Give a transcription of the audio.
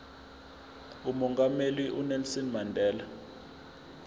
umongameli unelson mandela